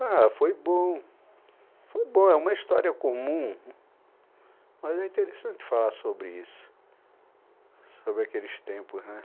Ah, foi bom, foi bom, é uma história comum, mas é interessante falar sobre isso, sobre aqueles tempos, né?